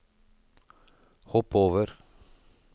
hopp over